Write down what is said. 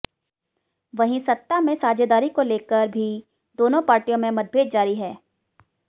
वहीं सत्ता में साझेदारी को लेकर भी दोनों पार्टियों में मतभेद जारी है